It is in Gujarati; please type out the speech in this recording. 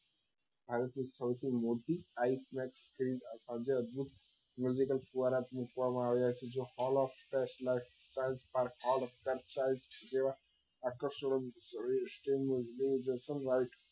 ભારત ની સૌથી મોટી દ્વારા પૂછવા માં આવેલા છે જે all of જેવા આકર્ષણો નું દુરદર્શન wise